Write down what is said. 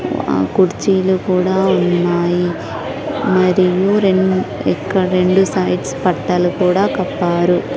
ఆ కుర్చీలు కూడా ఉన్నాయి మరియు రెన్ ఇక్కడ రెండు సైడ్స్ పట్టాలు కూడా కప్పారు.